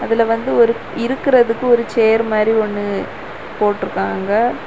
அதுல வந்து ஒரு இருகுறதுகு ஒரு சேர் மாரி ஒன்னு போட்டிருக்காங்க.